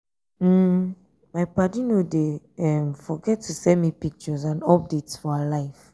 um my paddy no dey um forget to send me pictures um and updates for her life.